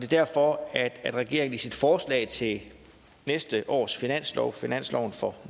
derfor at regeringen i sit forslag til næste års finanslov finansloven for